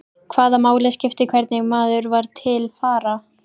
Hvaða máli skipti hvernig maður var til fara?